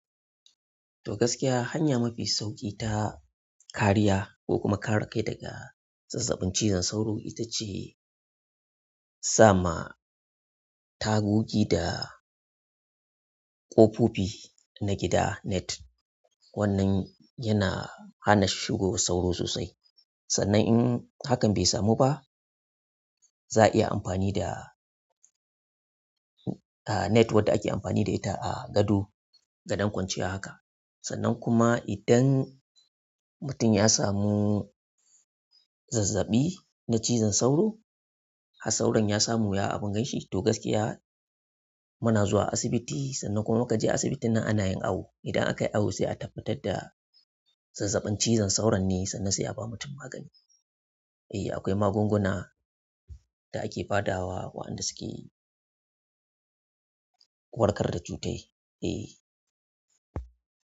To gaskiya hanya mafi sauƙi ta kariya ko kuma kare kai daga zazzaɓin cizon sauro ita ce sa ma tagogi da ƙofofi na gida net. Wannan yana hana shigowar sauro sannan in hakan bai samu ba, za a iya amfani da, ah, net wadda ake amfani da ita a gado gadon kwanciya haka. Sannan kuma idan mutum ya samu zazzaɓi na cizon sauro, har sauron ya samu ya abun ganshi to gaskiya muna zuwa asibiti sannan kuma mu kaje asibitin nan ana yin awo. Idan akayi awo sai a tabbatar da zazzaɓin cizon sauron ne sannan se a ba mutum magani. Eh akwai magunguna da ake ba da wa waɗanda suke warkar da cutai. Eh.